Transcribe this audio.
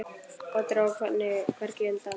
Og dró hvergi undan.